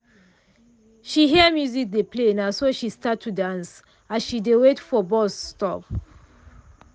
she hear music dey play naso she start to to dance as she dey wait for bus stop.